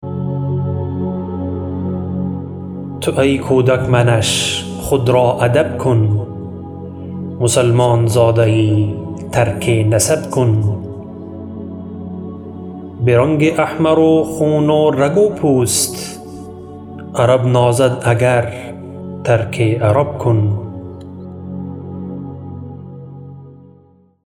تو ای کودک منش خود را ادب کن مسلمان زاده یی ترک نسب کن برنگ احمر و خون و رگ و پوست عرب نازد اگر ترک عرب کن